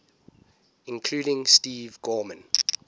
including steve gorman